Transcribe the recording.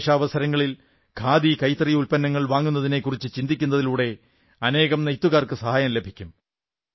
വിശേഷാവസരങ്ങളിൽ ഖാദി കൈത്തറി ഉത്പന്നങ്ങൾ വാങ്ങുന്നതിനെക്കുറിച്ചു ചിന്തിക്കുന്നതിലൂടെ അനേകം നെയ്ത്തുകാർക്ക് സഹായം ലഭിക്കും